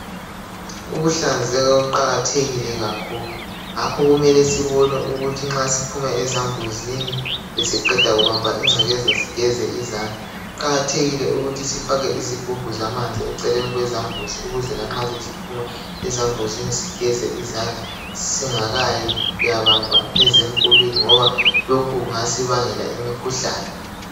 Ukuhlanzeka kuqakathekile kakhulu, ngakho kumele sibone ukuthi nxa siphuma ezambuzini sesiqeda kubamba ingcekeza sigeze izandla. Kuqakathekile ukuthi sifake izigubhu zamanzi eceleni kwezambuzi ukuze lanxa sesiphuma ezambuzini sigeze izandla singakayi kuyabamba ezemkulwini ngoba lokhu kungasibangela imikhuhlane.